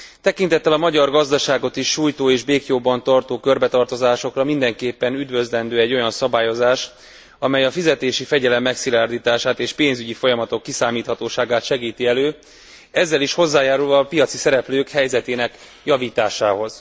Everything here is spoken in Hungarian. Tekintettel a magyar gazdaságot is sújtó és béklyóban tartó körbetartozásokra, mindenképpen üdvözlendő egy olyan szabályozás, amely a fizetési fegyelem megszilárdítását és a pénzügyi folyamatok kiszámíthatóságát segíti elő, ezzel is hozzájárulva a pénzügyi szereplők helyzetének javításához.